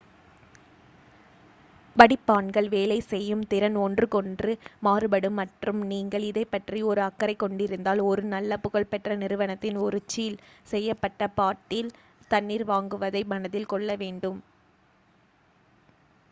வடிப்பான்கள் வேலை செய்யும் திறன் ஒன்றுக்கொன்று மாறுபடும் மற்றும் நீங்கள் இதைப்பற்றி ஒரு அக்கறைக் கொண்டிருந்தால் ஒரு நல்ல புகழ்பெற்ற நிறுவனத்தின் ஒரு சீல் செய்யப்பட்ட பாட்டில் தண்ணீர் வாங்குவதை மனதில் கொள்ள வேண்டும்